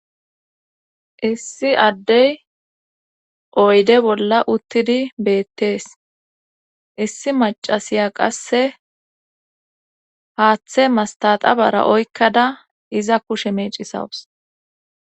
Issi addey oyde bolla uttidi beettees issi macasiya qasse haaththe mastata bara oykkada iza kushe meecisawus